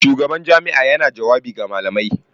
Shugaban jami'a yana jawabi ga malamai.